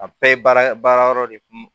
A bɛɛ ye baara baara yɔrɔ de kun